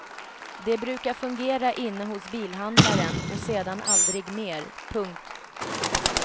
De brukar fungera inne hos bilhandlaren och sedan aldrig mer. punkt